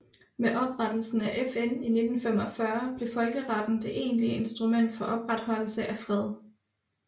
Med oprettelsen af FN i 1945 blev folkeretten det egentlige instrument for opretholdelse af fred